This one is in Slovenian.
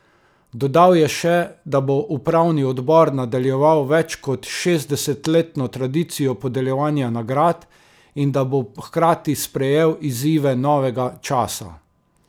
Dodal je še, da bo upravni odbor nadaljeval več kot šestdesetletno tradicijo podeljevanja nagrad in da bo hkrati sprejel izzive novega časa.